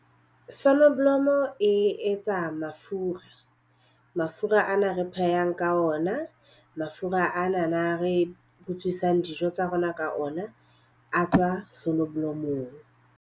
Sonoblomo e etsa mafura. Mafura ana re phehang ka ona, mafura anana re butswisa dijo tsa rona ka ona a tswa sonoblomong.